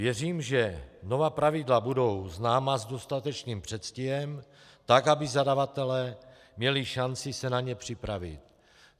Věřím, že nová pravidla budou známa s dostatečným předstihem tak, aby zadavatelé měli šanci se na ně připravit.